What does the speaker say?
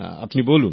আপনি বলুন